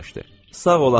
Sağ ol atam!